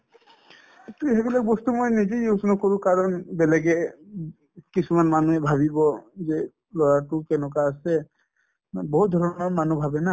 এইটো এইবিলাক বস্তু মই নিজে use নকৰো কাৰণ বেলেগে উব কিছুমান মানুহে ভাবিব যে ল'ৰাটো কেনেকুৱা আছে মানে বহুত ধৰণৰ মানুহ ভাবে না